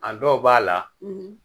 A dɔw b'a la